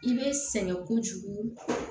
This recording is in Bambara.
I bɛ sɛgɛn kojugu